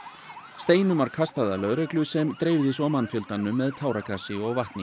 steinum var kastað að lögreglu sem dreifði svo mannfjöldanum með táragasi og vatni